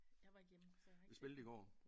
Jeg var ikke hjemme så jeg var ikke